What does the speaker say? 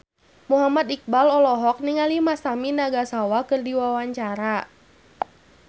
Muhammad Iqbal olohok ningali Masami Nagasawa keur diwawancara